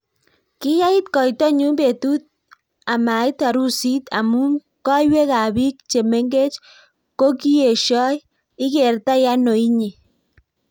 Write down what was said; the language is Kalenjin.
Kiyait koito nyu betut amait harusit amu koiywek ab biik chemengech kokieshoi ..ikertai ano inye?